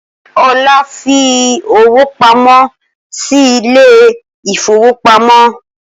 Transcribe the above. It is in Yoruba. Olá fi owó pamọ́ sí ilé ìfowópamọ́